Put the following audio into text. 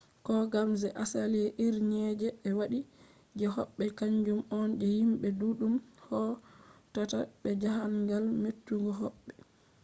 kogam je asali irinje be andi je hobbe kanjum on je himbe duddum hautata be jahangal: metugo hobbe